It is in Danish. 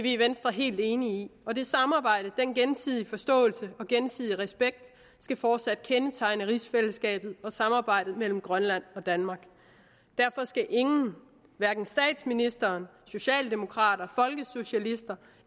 i venstre helt enige i og det samarbejde den gensidige forståelse og gensidige respekt skal fortsat kendetegne rigsfællesskabet og samarbejdet mellem grønland og danmark derfor skal ingen hverken statsministeren socialdemokrater folkesocialister